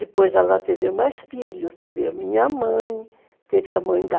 Depois ela teve mais filhos, teve a minha mãe, teve a mãe da...